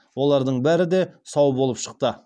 олардың бәрі де сау болып шықты